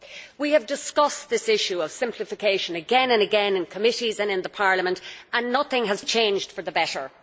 We have discussed this issue of simplification again and again in committee and in plenary, and yet nothing has changed for the better.